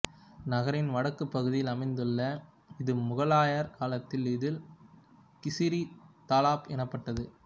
நகரின் வடக்கு பகுதியில் அமைந்துள்ள இது முகலாயர் காலத்தில் இது கிசிரி தலாப் எனப்பட்டது